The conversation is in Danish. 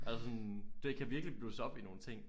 Altså sådan det kan virkelig blusse op i nogle ting